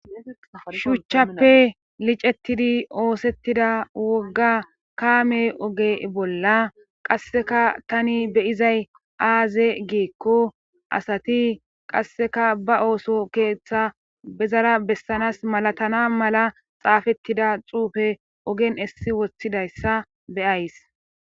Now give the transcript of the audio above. Shuuchchappe licettidi oosettida wogga kaame oge bolla qasseka tani beyizay aaze geekko asati qasseka ba ooso keeththa bezara bessanas malatana mala xaafettida xuufe ogen issi woththidayssa beyays.